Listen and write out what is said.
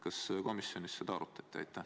Kas komisjonis seda arutati?